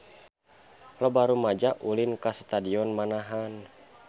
Loba rumaja ulin ka Stadion Manahan